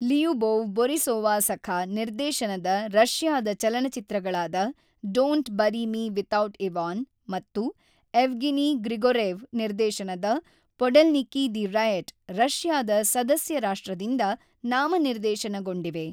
Lyubov Borisova Sakha ನಿರ್ದೇಶನದ ರಷ್ಯಾದ ಚಲನಚಿತ್ರಗಳಾದ don't bury me without Ivan ಮತ್ತು ಎವ್ಗೆನಿ ಗ್ರಿಗೊರೆವ್ ನಿರ್ದೇಶನದ ಪೊಡೆಲ್ನಿಕಿ ದಿ ರಯಟ್ ರಷ್ಯಾದ ಸದಸ್ಯ ರಾಷ್ಟ್ರದಿಂದ ನಾಮನಿರ್ದೇಶನಗೊಂಡಿವೆ.